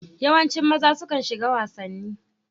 Yawancin maza sukan shiga wasanni.